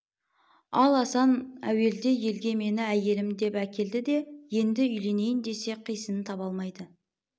ал асан әуелде елге мені әйелім деп әкелді де енді үйленейін десе қисынын таба алмайды